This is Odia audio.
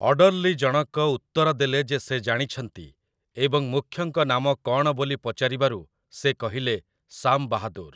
ଅଡର୍ଲି ଜଣକ ଉତ୍ତର ଦେଲେ ଯେ ସେ ଜାଣିଛନ୍ତି, ଏବଂ ମୁଖ୍ୟଙ୍କ ନାମ କ'ଣ ବୋଲି ପଚାରିବାରୁ ସେ କହିଲେ, "ସାମ୍ ବାହାଦୁର୍" ।